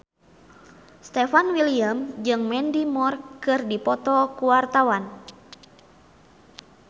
Stefan William jeung Mandy Moore keur dipoto ku wartawan